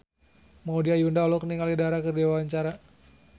Maudy Ayunda olohok ningali Dara keur diwawancara